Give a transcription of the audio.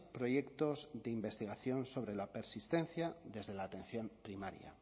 proyectos de investigación sobre la persistencia desde la atención primaria